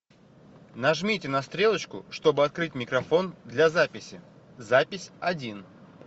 нажмите на стрелочку чтобы открыть микрофон для записи запись один